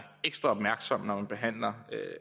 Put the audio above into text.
ekstra opmærksom når man behandler